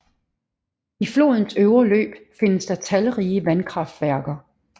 I flodens øvre løb findes der talrige vandkraftværker